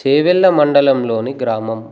చేవెళ్ళ మండలంలోని గ్రామం